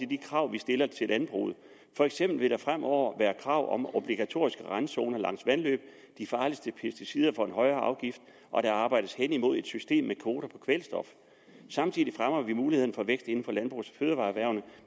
de krav vi stiller til landbruget for eksempel vil der fremover være krav om obligatoriske randzoner langs vandløb de farligste pesticider får en højere afgift og der arbejdes hen imod et system med kvoter på kvælstof samtidig fremmer vi mulighederne for vækst inden for landbrugs og fødevareerhvervene